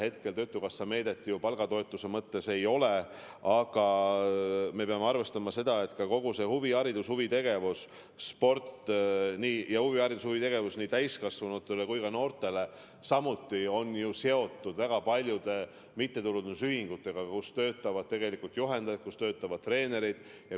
Hetkel töötukassa meedet palgatoetuse mõttes ei ole, aga me peame arvestama seda, et kogu see huviharidus, sport ja huvitegevus – ja huvitegevus nii täiskasvanutele kui ka noortele – on ju seotud väga paljude mittetulundusühingutega, kus töötavad juhendajad, kus töötavad treenerid.